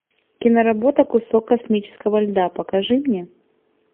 киноработа кусок космического льда покажи мне